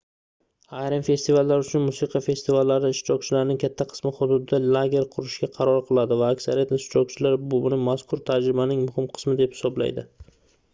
ayrim festivallar uchun musiqa festivallari ishtirokchilarining katta qismi hududda lager qurishga qaror qiladi va aksariyat ishtirokchilar buni mazkur tajribaning muhim qismi deb hisoblaydi